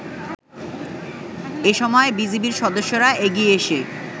এসময় বিজিবির সদস্যরা এগিয়ে এসে